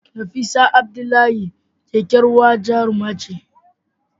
Nafisa Abdullahi kyakkyawar jaruma ce.